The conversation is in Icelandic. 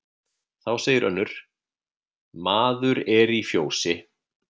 Þá segir önnur: Maður er í fjósi